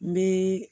N bɛ